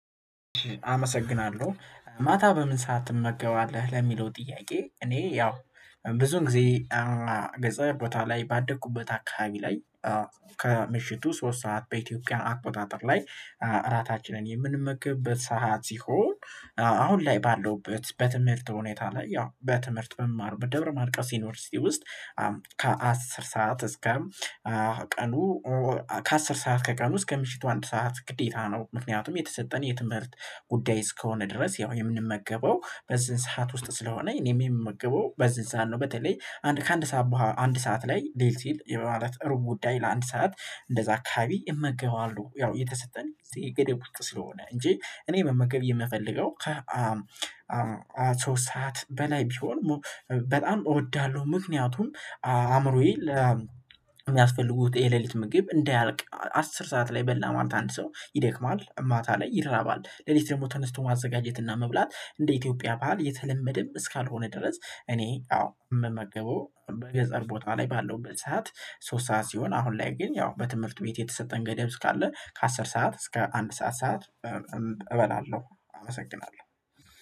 አመሰግናለሁ ማታ በምን ሰዓት ትመገባለህ? ለሚለው ጥያቄ እኔ ያው ብዙ ጊዜ ገጸር ቦታ ላይ ባደኩበት አካባቢ ላይ ከምሽቱ ሶስት ሰዓት በኢትዮጵያ አቆጣጠር ላይ እራታችንን የምንመገብበት ሰዓት ሲሆን አሁን ላይ ባለሁበት በትምህርት ሁኔታ ላይ ያው በትምህርት በምማርበት ደብረ ማርቆስ ዩኒቨርሲቲ ውስጥ ከአስር ሰዓት እስከም ቀኑ ከአስር ሰዓት ከቀኑ እስከ ምሽቱ አንድ ሰዓት ግዴታ ነው ምክንያቱም የተሰጠን የትምህርት ጉዳይ እስከሆነ ድረስ ያው የምንመገበው በዚህን ሰዓት ውስጥ ስለሆነ እኔም የምመገበው በዚህን ሰዓት ነው በተለይ አንድ ከአንድ ሰዓት በኋላ አንድ ሰዓት ላይ ሊል ሲል የማለት ሩብ ጉዳይ ለአንድ ሰዓት እንደዛ አካባቢ እመገበዋለሁ ያው የተሰጠኝ ገደብ ውስጥ ስለሆነ እንጂ እኔ መመገብ የምፈልገው ከ ሶስት ሰዓት በላይ ቢሆን በጣም እወዳለሁ ምክንያቱም አእምሮዬ ለ የሚያስፈልጉት የሌሊት ምግብ እንዳያልቅ አስር ሰዓት ላይ በላ ማለት አንድ ሰው ይደክማል ማታ ላይ ይራባል ሌሊት ደግሞ ተነስቶ ማዘጋጀትና መብላት እንደ ኢትዮጵያ ባህል የተለመደም እስካልሆነ ድረስ እኔ አዎ የምመገበው በገጠር ቦታ ላይ ባለውበት ሰዓት ሶስት ሰዓት ሲሆን አሁን ላይ ግን ያው በትምህርቱ ቤት የተሰጠን ገደብ እስካለ ከአስር ሰዓት እስከ አንድ ሰዓት ሰዓት እበላለሁ አመሰግናለሁ